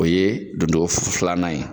O ye don togo filanan ye